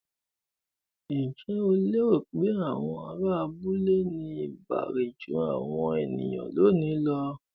Ǹjẹ́ o lérò pé àwọn ará abúlé ní ìbárẹ́ jú àwọn ènìyàn lónìí lọ?